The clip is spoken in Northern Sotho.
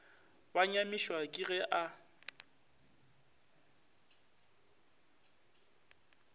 ba nyamišwa ke ge a